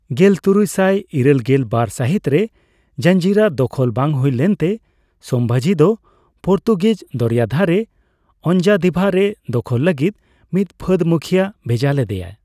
ᱜᱮᱞᱛᱩᱨᱩᱭ ᱥᱟᱭ ᱤᱨᱟᱹᱞᱜᱮᱞ ᱵᱟᱨ ᱥᱟᱹᱦᱤᱛ ᱨᱮ ᱡᱟᱸᱡᱤᱨᱟ ᱫᱚᱠᱷᱚᱞ ᱵᱟᱝ ᱦᱩᱭ ᱞᱮᱱᱛᱮ, ᱥᱚᱸᱵᱷᱟᱡᱤ ᱫᱚ ᱯᱚᱨᱛᱩᱜᱤᱡᱽ ᱫᱚᱨᱭᱟ ᱫᱷᱟᱨᱮ ᱚᱸᱧᱡᱟᱫᱤᱵᱷᱟ ᱨᱮ ᱫᱚᱠᱷᱚᱞ ᱞᱟᱹᱜᱤᱫ ᱢᱤᱫ ᱯᱷᱟᱹᱫᱽ ᱢᱩᱠᱷᱤᱭᱟᱹ ᱵᱷᱮᱡᱟ ᱞᱮᱫᱮᱭᱟ ᱾